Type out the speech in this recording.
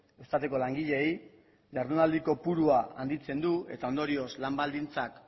eustateko langileei jardunaldiko kopurua handitzen du eta ondorioz lan baldintzak